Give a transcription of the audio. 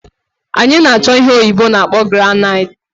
Anyi na-acho ihe oyibo na-akpo granite